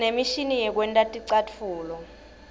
sinemishini yekwenta ticatfulo